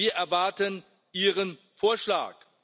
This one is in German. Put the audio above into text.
Wir erwarten Ihren Vorschlag.